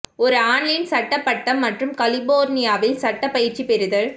ஒரு ஆன்லைன் சட்ட பட்டம் மற்றும் கலிபோர்னியாவில் சட்டம் பயிற்சி பெறுதல்